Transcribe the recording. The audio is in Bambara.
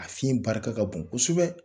A fiɲɛ barika ka bon kosɛbɛ.